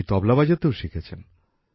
তিনি তবলা বাজাতেও শিখেছেন